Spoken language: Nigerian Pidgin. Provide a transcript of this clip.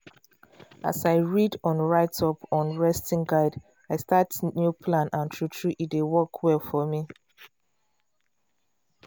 as i read on write up on resting guide i start new plan and true true e dey work well for me.